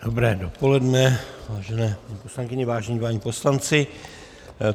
Dobré dopoledne, vážené paní poslankyně, vážení páni poslanci.